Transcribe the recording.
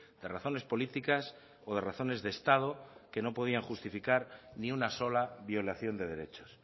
de razones políticas o de razones de estado que no podían justificar ni una sola violación de derechos